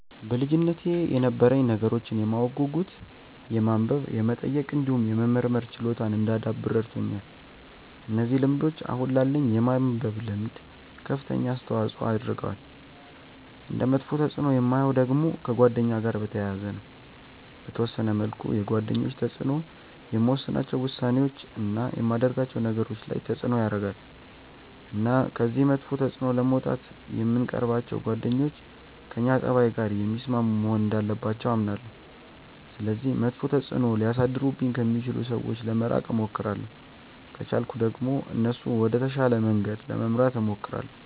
በልጅነቴ የነበረኝ ነገሮችን የማወቅ ጉጉት የማንበብ የመጠየቅ እንዲሁም የመመርመር ችሎታን እንዳዳብር ረድቶኛል። እነዚህ ልምዶች አሁን ላለኝ የማንበብ ልምድ ከፍተኛ አስተዋጽዖ አድርገዋል። እንደ መጥፎ ተፅእኖ የማየው ደግሞ ከጓደኛ ጋር በተያያዘ ነው። በተወሰነ መልኩ የጓደኞች ተጽእኖ የምወስናቸው ውሳኔዎች፣ እና የማደርጋቸው ነገሮች ላይ ተጽእኖ ያረጋል። እና ከዚህ መጥፎ ተጽእኖ ለመውጣት የምንቀርባቸው ጓደኞች ከእኛ ፀባይ ጋር የሚስማሙ መሆን እንዳለባቸው አምናለሁ። ስለዚህ መጥፎ ተጽእኖ ሊያሳድሩብኝ ከሚችሉ ሰዎች ለመራቅ እሞክራለሁ። ከቻልኩ ደግሞ እነሱንም ወደ ተሻለ መንገድ ለመምራት እሞክራለሁ።